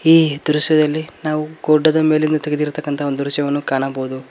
ಈ ದೃಶ್ಯದಲ್ಲಿ ನಾವು ಗುಡ್ಡದ ಮೇಲಿಂದ ತಗ್ದಿರ್ತಕ್ಕಂತ ಒಂದು ದೃಶ್ಯವನ್ನು ಕಾಣಬೋದು.